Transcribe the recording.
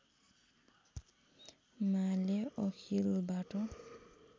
माले अखिलबाट